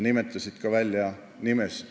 Öeldi välja ka nimesid.